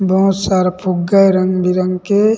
बहोत सारा फुग्गा हैं रंग-बिरंग के--